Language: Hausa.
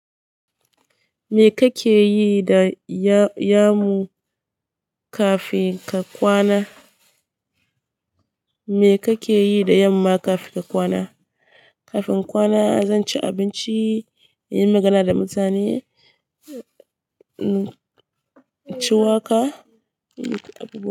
Me kake yi da ya-yamu kafin ka kwana? Me kake yi da yamma kafin ka kwana? Kafin kwana, zan ci abinci, in yi magana da mutane, ci waka, yi.